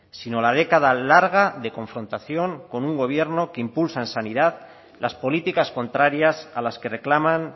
sino la década larga de confrontación con un gobierno que impulsa en sanidad las políticas contrarias a las que reclaman